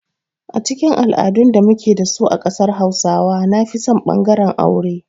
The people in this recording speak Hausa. A cikin al'adun da muke da su a ƙasar hausawa nafison ɓangaren aure.